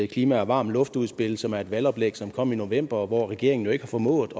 klima og varm luft udspil som er et valgoplæg som kom i november og hvor regeringen jo ikke har formået